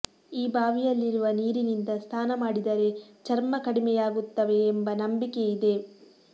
ಈ ಬಾವಿಯಲ್ಲಿರುವ ನೀರಿನಿಂದ ಸ್ನಾನ ಮಾಡಿದರೆ ಚರ್ಮ ಕಡಿಮೆಯಾಗುತ್ತವೆ ಎಂಬ ನಂಬಿಕೆ ಇದೆ